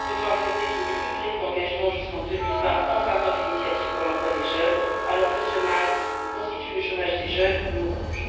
Comment peut on accepter qu'il n'y ait plus de crédits d'engagement jusqu'en 2020 en faveur d'initiatives pour l'emploi des jeunes, alors que ce mal que constitue le chômage des jeunes nous ronge?